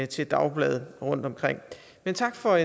til dagblade rundt omkring men tak for